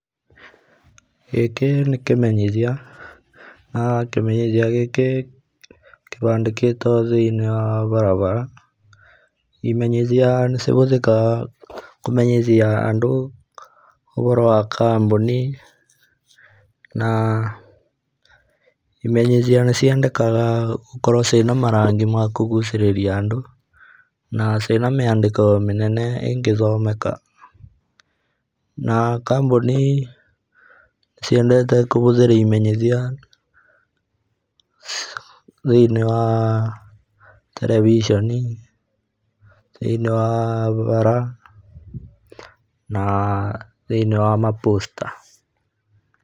Gĩkĩ nĩ kĩmenyitia na[ah] kĩmenyithia gĩkĩ kĩbandĩkĩtwo thĩiniĩ wa barabara. Imenyithia nĩcihũthĩkaga kũmenyithia andũ ũhoro wa kambuni na imenyithia nĩciandĩkaga gũkorwo ciĩna marangi ma kũgucĩrĩria andũ na ciĩna mĩandĩko mĩnene ĩngĩthomeka. Na kambuni ciendete kũhũthĩra imenyithia thĩiniĩ wa ah terevisheni thĩiniĩ wa bara na thĩiniĩ wa maposta.